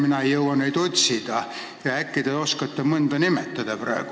Mina ei jõua neid otsida, äkki te oskate mõnda nimetada?